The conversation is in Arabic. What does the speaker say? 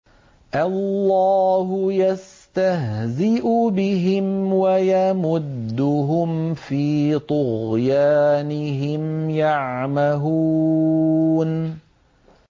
اللَّهُ يَسْتَهْزِئُ بِهِمْ وَيَمُدُّهُمْ فِي طُغْيَانِهِمْ يَعْمَهُونَ